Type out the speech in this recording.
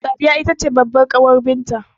Sadiya itace babbar ƙawar binta